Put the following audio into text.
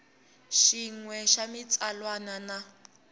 xin we xa xitsalwana na